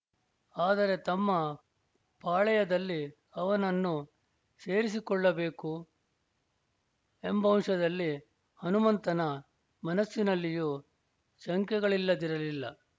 ಆದರೆ ತಮ್ಮ ಪಾಳೆಯದಲ್ಲಿ ಅವನನ್ನು ಸೇರಿಸಿಕೊಳ್ಳಬೇಕು ಎಂಬಂಶದಲ್ಲಿ ಹನುಮಂತನ ಮನಸ್ಸಿನಲ್ಲಿಯೂ ಶಂಕೆಗಳಿಲ್ಲದಿರಲಿಲ್ಲ